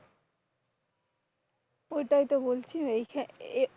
ঐটাই তো বলছি এই এইখানে,